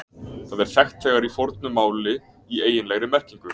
Það er þekkt þegar í fornu máli í eiginlegri merkingu.